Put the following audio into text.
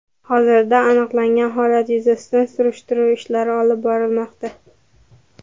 Hozirda aniqlangan holat yuzasidan surishtiruv ishlari olib borilmoqda.